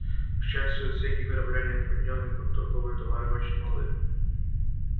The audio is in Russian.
к счастью отсеки корабля не отведённые под торговые товары очень малы